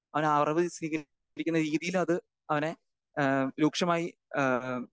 speaker 2 അവനറിവ് സ്വീകരിക്കുന്ന രീതിയിലത് അവനെ ഏഹ് രൂക്ഷമായി ഏഹ്